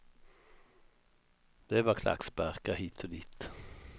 Det var klacksparkar hit och dit.